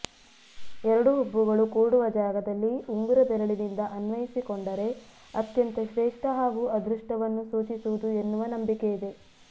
ಎರಡು ಹುಬ್ಬುಗಳು ಕೂಡುವ ಜಾಗದಲ್ಲಿ ಉಂಗುರ ಬೆರಳಿನಿಂದ ಅನ್ವಯಿಸಿಕೊಂಡರೆ ಅತ್ಯಂತ ಶ್ರೇಷ್ಠ ಹಾಗೂ ಅದೃಷ್ಟವನ್ನು ಸೂಚಿಸುವುದು ಎನ್ನುವ ನಂಬಿಕೆಯಿದೆ